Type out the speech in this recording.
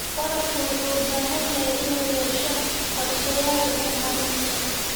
Waraabka wuxuu u baahan yahay inuu yeesho qorshayaal horumarineed.